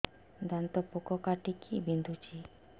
ଦାନ୍ତ ପୋକ କାଟିକି ବିନ୍ଧୁଛି